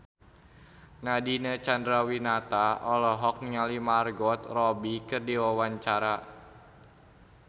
Nadine Chandrawinata olohok ningali Margot Robbie keur diwawancara